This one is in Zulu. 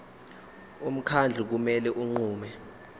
umkhandlu kumele unqume